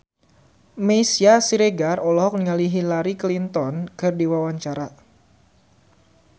Meisya Siregar olohok ningali Hillary Clinton keur diwawancara